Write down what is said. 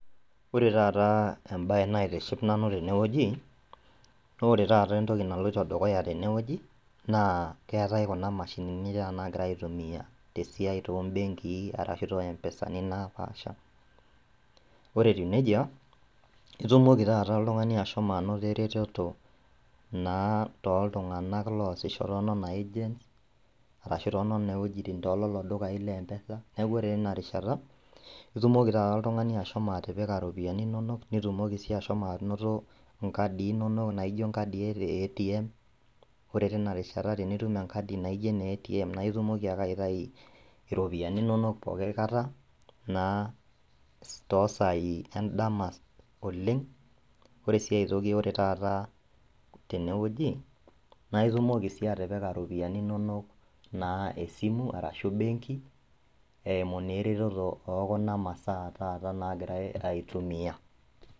Ore taataa embaye naitiship nanu tenewueji naore tata entoki naloito dukuya tenewueji naa keetai kuna mashinini nagiraiaitumia tesiai toombenkii arashu too empesani naapaasha. Ore etiu neija itumoki tata oltung'ani ashomo anoto eretoto naa toltunganak loasisho toonena  agents arashu toonena wuejitin toololo dukai leempesa, neaku ore teina rishata itumoki tata oltung'ani ashomo atipika iropiani inonok nitumoki sii ashomo anoto inkadii inonok naijo inkadii eetiem, ore tinarishata tinitum enkadi naijo eneetiem naitumoki ake aitai iropiyani inonok pooki aikata naa toosai endama oleng', ore sii aitoki ore tata tenewueji naitumoki sii atipika iropiani inonok naa esimu arashu benki eimu neeretoto ookuna masaa taata nagirai aitumia.